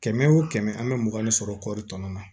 Kɛmɛ wo kɛmɛ an bɛ mugan de sɔrɔ kɔri tɔnɔ na